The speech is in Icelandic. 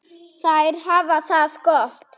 Þær hafa það gott.